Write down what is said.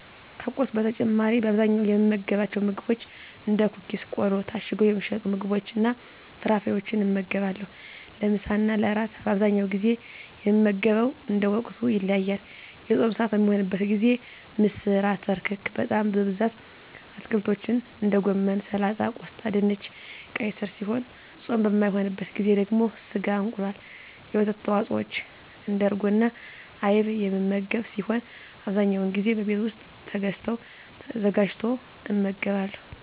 ከቁርስ በተጨማሪ በአብዛኛው የምመገባቸው ምግቦች እንደ ኩኪስ ቆሎ ታሽገው የሚሸጡ ምግቦችንና ፍራፍሬወችን እመገባለሁ። ለምሳና ለእራት በአብዛኛው ጊዜ የምመገበው እንደ ወቅቱ ይለያያል። የፆም ስዓት በሚሆንበት ጊዜ ምስር አተር ክክ በጣም በብዛት አትክልቶችን እንደ ጎመን ሰላጣ ቆስጣ ድንች ቀይ ስር ሲሆኑ ፆም በማይሆንበት ጊዜ ደግሞ ስጋ እንቁላል የወተት ተዋፅወች እንደ እርጎና አይብ የምመገብ ሲሆን አብዛኛውን ጊዜ በቤት ውስጥ ተገዝተው ተዘጋጅቶ እመገባለሁ።